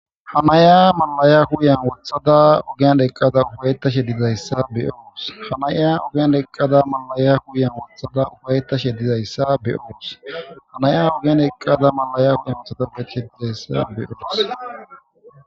ha naya malaya huyan wothada ogiandeqqada ufayetta she dizayssa beyoos hanaya ogean dheqqada malaya huyan wothada ufaytta she dizayssa beyoos hanaya ogen eqqada malaya huya mitatapbeshedizayssa beyoos